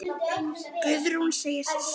Guðrún segist sátt.